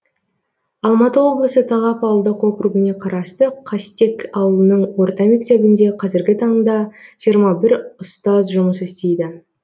алматы облысы талап ауылдық округіне қарасты қастек ауылының орта мектебінде қазіргі таңда жиырма бір ұстаз жұмыс істейді